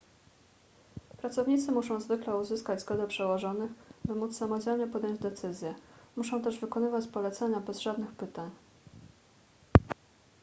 pracownicy muszą zwykle uzyskać zgodę przełożonych by móc samodzielnie podjąć decyzję muszą też wykonywać polecenia bez żadnych pytań